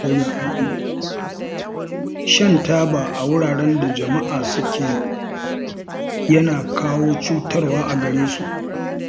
Shan taba a wuraren da jama'a suke yana kawo cutarwa a gare su